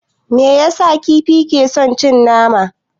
Me yasa kifi ke son cin tana?